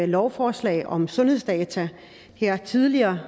lovforslag om sundhedsdata her tidligere